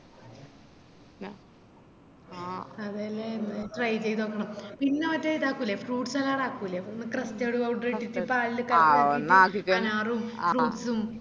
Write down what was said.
അതെല്ലേ എന്നാ try ചെയ്ത് നോക്കണം പിന്നാ മറ്റേ ഇതാക്കുലെ fruit salad ആക്കുലെ ഇട്ടിറ്റ് അനാറും fruits ഉം